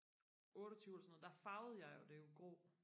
otteogtyve eller sådan noget der farvede jeg det jo grå